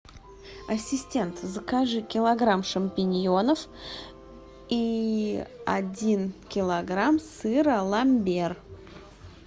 ассистент закажи килограмм шампиньонов и один килограмм сыра ламбер